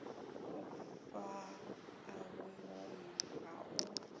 u fhaa vhungomu ha u